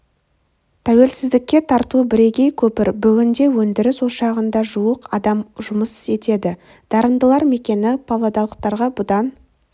тәуелсіздікке тарту бірегей көпір бүгінде өндіріс ошағында жуық адам жұмыс еңбек етеді дарындылар мекені павлодарлықтарға бұдан